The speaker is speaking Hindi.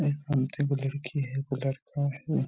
ये घूमते एगो लड़की है एगो लड़का है।